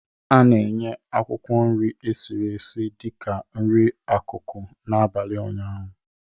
A na-enye akwụkwọ nri esiri esi dị ka nri akụkụ n'abalị ụnyaahụ